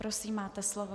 Prosím, máte slovo.